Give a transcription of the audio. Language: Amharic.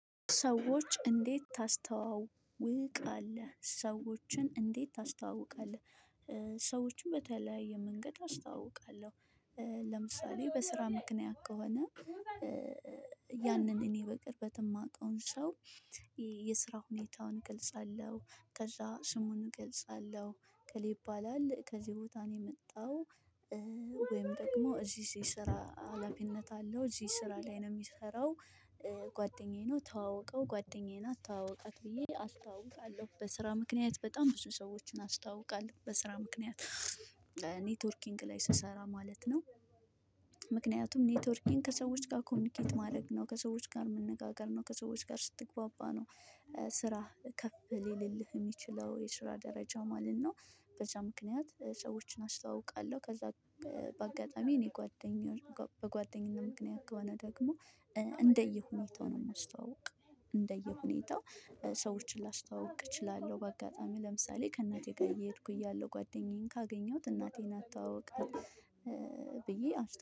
ሰዎች እንዴት ታስተዋውቃለህ ሰዎችን እንዴት ታስተዋውቃለህ? ሰዎችን በተለያየ መንገድ አስተዋውቃለሁ። ለምሳሌ በስራ ምክንያት ከሆነ ያንን እኔ በቅርበት የማውቀውን ሰው የስራ ሁኔታውን ገልጻለሁ። ከዛ ስሙን እገልጻለሁ እከሌ ይባባል ከዚህ ቦታ ነው የመጣው። ወይም ደግሞ እዚህ ስራ አላፊነት አለው እዚህ ስራ ላይ ነው የሚሰራው። ጓደኛዬ ነው ተዋወቀው ጓደኛዬ ናት ተዋወቃት ብዬ አስተዋውቃለሁ በስራ ምክንያት በጣም ብዙ ሰዎችን አስተዋውቃለሁ። በስራ ምክንያት ኔትወርኪንግ ላይ ስሰራ ማለት ነው። ምክንያቱም ኔትወርኪንግ ከሰዎች ጋር ኮሚኒኬት ማድረግ ነው ከሰዎች ጋር መነጋገር ነው ከሰዎች ጋር ስትግባባ ነው። ስራህ ከፍ ሊልልህ የሚችለው የስራ ደረጃ ማለት ነው። በዛ ምክንያት ሰዎችን አስተዋውቃለሁ ከዛ። በአጋጣሚ እኔ ጓደኛዬ በጓደኝነት ምክንያት ጓደኛ ደግሞ እንደየሁኔታው ነው የማስተዋውቅ። እንደየሁኔታው ሰዎችን ላስተዋውቅ እችላለሁ በአጋጣሚ ለምሳሌ ከእናቴ ጋር እየሄድኩ እያለሁ ጓደኛዬን ካገኘሁት እናቴ ናት ተዋወቃት ብዬ አስታውቅ